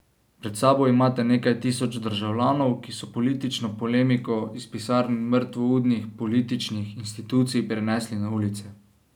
Pred sabo imate nekaj tisoč državljanov, ki so politično polemiko iz pisarn mrtvoudnih političnih institucij prenesli na ulice.